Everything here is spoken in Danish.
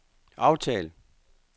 aftal